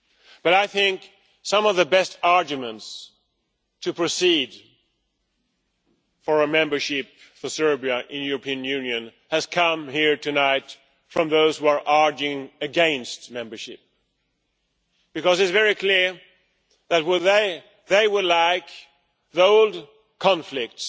But I think some of the best arguments for proceeding with membership of Serbia to the European Union have come here tonight from those who are arguing against membership, because it is very clear that they would like the old conflicts,